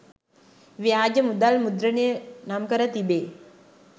ව්‍යාජ මුදල් මුද්‍රණය නම්කර තිබේ.